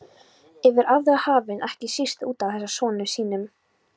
Yfir aðra hafinn, ekki síst útaf þessum sonum sínum.